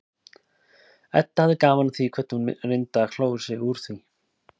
Edda hafði gaman af því hvernig hún reyndi að klóra sig út úr því.